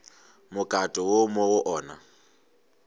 mokato wo mo go ona